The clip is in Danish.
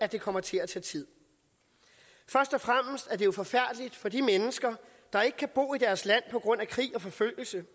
det kommer til at tage tid først og fremmest er det jo forfærdeligt for de mennesker der ikke kan bo i deres land på grund af krig og forfølgelse